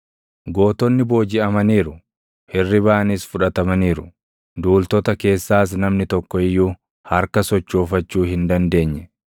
Gootonni boojiʼamaniiru; hirribaanis fudhatamaniiru; duultota keessaas namni tokko iyyuu harka sochoofachuu hin dandeenye.